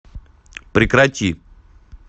прекрати